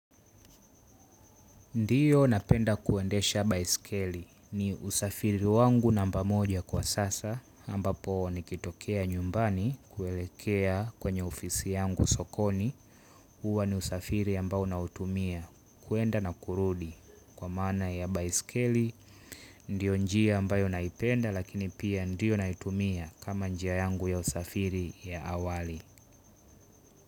Ndiyo napenda kuendesha baiskeli. Ni usafiri wangu namba moja kwa sasa, ambapo nikitokea nyumbani kuelekea kwenye ofisi yangu sokoni. Huwa ni usafiri ambao nautumia, kuenda na kurudi kwa maana ya baiskeli ndiyo njia ambayo naipenda lakini pia ndiyo naitumia kama njia yangu ya usafiri ya awali.